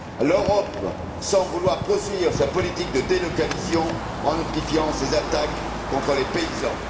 L'Europe semble vouloir poursuivre sa politique de délocalisation en amplifiant ses attaques contre les paysans.